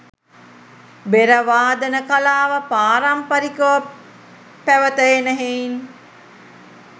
බෙර වාදන කලාව පාරම්පරිකව පැවත එන හෙයින්